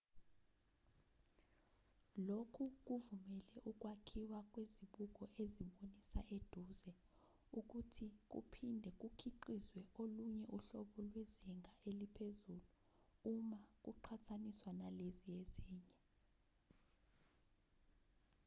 lokhu kuvumele ukwakhiwa kwezibuko ezibonisa eduze ukuthi kuphinde kukhiqizwe olunye uhlobo lwezinga eliphezulu uma kuqhathaniswa nalezi ezinye